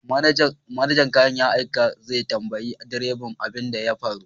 Manajan kayan aiki zai tambayi direba abin da ya faru